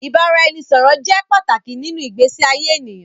Ìbáraẹnisọ̀rọ̀ jẹ́ pàtàkì nínú ìgbésí ayé ènìyàn.